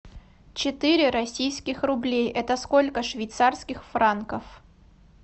четыре российских рублей это сколько швейцарских франков